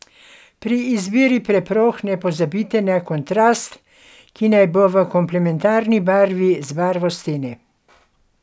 Pri izbiri preprog ne pozabite na kontrast, ki naj bo v komplementarni barvi z barvo stene.